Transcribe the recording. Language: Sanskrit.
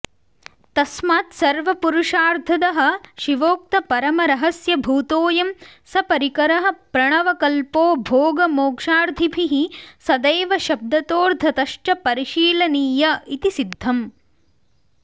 तस्मात्सर्वपुरुषार्थदः शिवोक्तपरमरहस्यभूतोऽयं सपरिकरः प्रणवकल्पो भोगमोक्षार्थिभिः सदैव शब्दतोऽर्थतश्च परिशीलनीय इति सिद्धम्